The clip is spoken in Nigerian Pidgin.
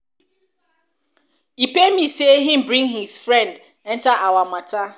e pain me say he bring his friend enter our matter.